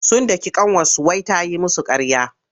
Sun daki ƙanwarsu wai ta yi musu ƙarya.